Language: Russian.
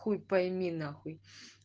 хуй пойми нахуй